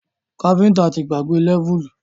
Káfíntà ti gbàgbé lẹ́vùlì